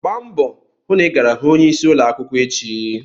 Gbaa mbọ hụ na ị gara hụ onyeisi ụlọ akwụkwọ echi!